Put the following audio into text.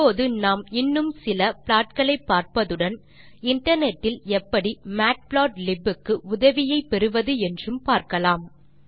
இப்போது நாம் இன்னும் சில ப்ளாட் களை பார்ப்பதுடன் இன்டர்நெட் இல் எப்படி மேட்புளாட்லிப் க்கு உதவியை பெறுவது என்றும் பார்க்கலாம்